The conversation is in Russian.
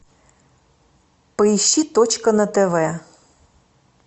поищи точка на тв